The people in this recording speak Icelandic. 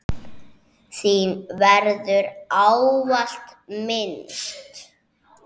Þín verður ávallt minnst.